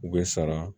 U bɛ sara